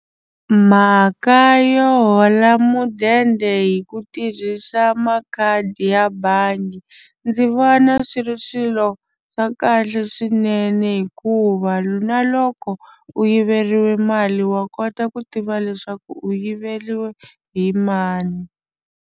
Mhaka yo hola mudende hi ku tirhisa makhadi ya bangi ndzi vona swi ri swilo swa kahle swinene hikuva na loko u yiveriwa mali wa kota ku tiva leswaku u yiveriwile hi mani.